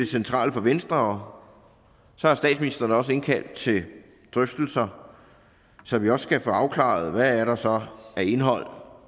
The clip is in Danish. centrale for venstre statsministeren har også indkaldt til drøftelser så vi også kan få afklaret hvad der så er af indhold